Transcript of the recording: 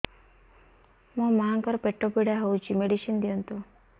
ମୋ ମାଆଙ୍କର ପେଟ ପୀଡା ହଉଛି ମେଡିସିନ ଦିଅନ୍ତୁ